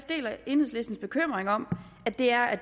deler enhedslistens bekymring om at det er at